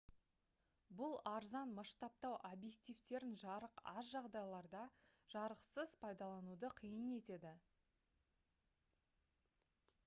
бұл арзан масштабтау объективтерін жарық аз жағдайларда жарқылсыз пайдалануды қиын етеді